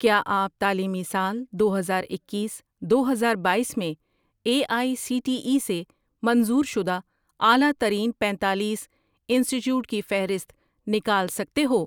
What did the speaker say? کیا آپ تعلیمی سال دو ہزار اکیس، دو ہزارباییس میں A I C T E سے منظور شدہ اعلی ترین پینتالیس انسٹی ٹیوٹ کی فہرست نکال سکتے ہو